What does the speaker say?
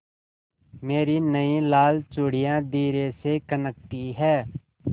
मेरी नयी लाल चूड़ियाँ धीरे से खनकती हैं